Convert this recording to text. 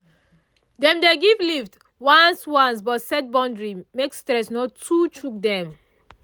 dem dey give lift once once but set boundary make stress no too choke dem